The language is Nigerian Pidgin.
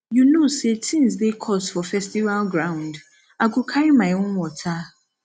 you know sey tins dey cost for festival ground i go carry my own water